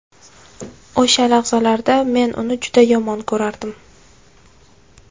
O‘sha lahzalarda men uni juda yomon ko‘rardim.